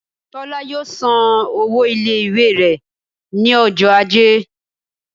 Tola yọọ sán ọwọ ile-iwe rẹ ni ọjọ ajé